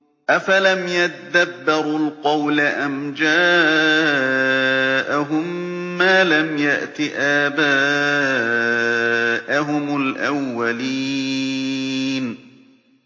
أَفَلَمْ يَدَّبَّرُوا الْقَوْلَ أَمْ جَاءَهُم مَّا لَمْ يَأْتِ آبَاءَهُمُ الْأَوَّلِينَ